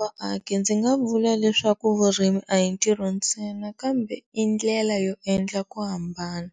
vaaki ndzi nga vula leswaku vurimi a hi ntirho ntsena kambe i ndlela yo endla ku hambana.